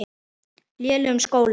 lélegum skólum.